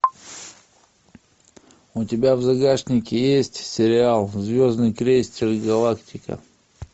у тебя в загашнике есть сериал звездный крейсер галактика